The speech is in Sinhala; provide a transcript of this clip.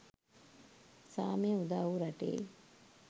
සාමය උදාවූ රටේ